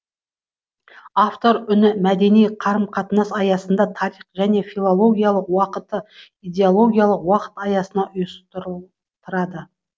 автор үні мәдени қарым қатынас аясында тарих және уақытты идеологиялық уақыт аясында ұйыстыр рады